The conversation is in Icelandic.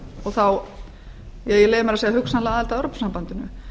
og þá ég leyfi mér að segja hugsanlega aðild að evrópusambandinu